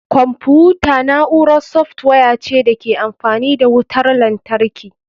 Kwamfuta na'urar software ce da ke amfani da wutar lantarki.